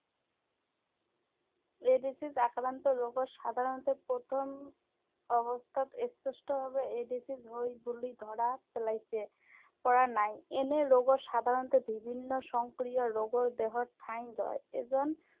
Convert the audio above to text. AIDS আক্ৰান্ত ৰোগৰ সাধাৰণতে প্ৰথম, অৱস্থাত স্পষ্টভাৱে এইড্‌ছ হয় বুলি ধৰা পেলাইছে, পৰা নাই৷ এনে ৰোগৰ সাধাৰণতে বিভিন্ন সংক্ৰীয় ৰোগৰ দেহত ঠাই লয়। এজন